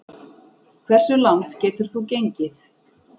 Hversu langt getur þú gengið?